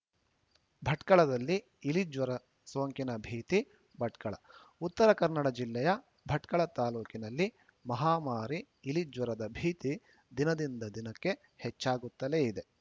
ಭಟ್ಕಳದಲ್ಲಿ ಇಲಿಜ್ವರ ಸೋಂಕಿನ ಭೀತಿ ಭಟ್ಕಳ ಉತ್ತರ ಕನ್ನಡ ಜಿಲ್ಲೆಯ ಭಟ್ಕಳ ತಾಲೂಕಿನಲ್ಲಿ ಮಹಾಮಾರಿ ಇಲಿಜ್ವರದ ಭೀತಿ ದಿನದಿಂದ ದಿನಕ್ಕೆ ಹೆಚ್ಚಾಗುತ್ತಲೇ ಇದೆ